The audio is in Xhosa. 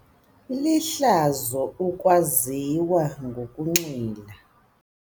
Lihlazo ukwaziwa ngokunxila.